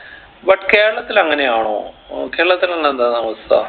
but കേരളത്തിൽ അങ്ങനെയാണോ കേരളത്തിലുള്ള എന്താണവസ്ഥ